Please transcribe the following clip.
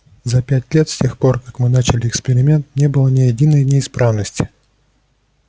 за пять лет с тех пор как мы начали эксперимент не было ни единой неисправности